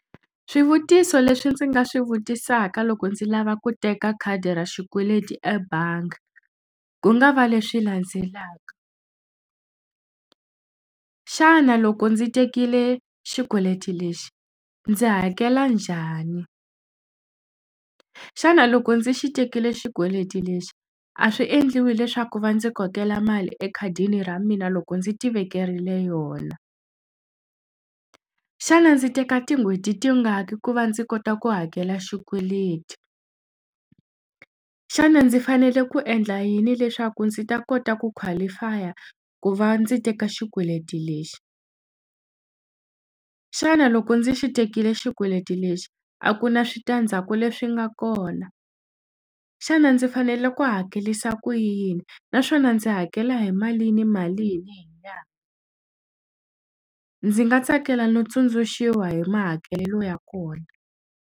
Swivutiso leswi ndzi nga swi vutisaka loko ndzi lava ku teka khadi ra xikweleti ebangi ku nga va leswi landzelaka xana loko ndzi tekile xikweleti lexi ndzi hakela njhani xana loko ndzi xi tekile xikweleti lexi a swi endliwi leswaku va ndzi kokela mali ekhadini ra mina loko ndzi ti vekeriwe yona xana ndzi teka tin'hweti tingaki ku va ndzi kota ku hakela xikweleti xana ndzi fanele ku endla yini leswaku ndzi ta kota ku qualify-a ku va ndzi teka xikweleti lexi xana loko ndzi xi tekile xikweleti lexi a ku na switandzhaku leswi nga kona xana ndzi fanele ku hakelisa ku yini naswona ndzi hakela hi malini malini hi nyangha ndzi nga tsakela no tsundzuxiwa hi mahakelelo ya kona.